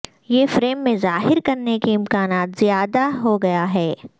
یہ فریم میں ظاہر کرنے کے امکانات زیادہ ہو گیا ہے